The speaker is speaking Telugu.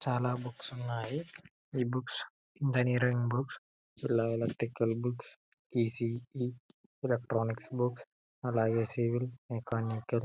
చాలా బుక్స్ ఉన్నాయి. ఈ books engineering books electrical books E C E electronics books అలాగే సివిల్ మెకానికల్ .